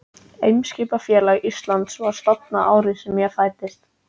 Eimskipafélag Íslands var stofnað árið sem ég fæddist.